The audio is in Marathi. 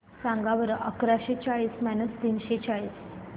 सांगा बरं अकराशे चाळीस मायनस तीनशे चाळीस